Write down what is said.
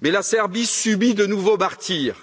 Mais la Serbie subit de nouveaux martyrs